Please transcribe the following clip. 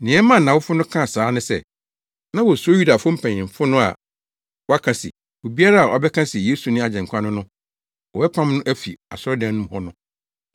Nea ɛmaa nʼawofo no kaa saa ne sɛ, na wosuro Yudafo mpanyimfo no a wɔaka se, obiara a ɔbɛka se Yesu ne Agyenkwa no no, wɔbɛpam no afi asɔredan no mu hɔ no.